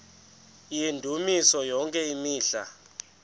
yendumiso yonke imihla